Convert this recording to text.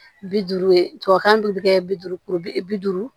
Bi duuru ye tubabukan dun bɛ kɛ bi duuru bi duuru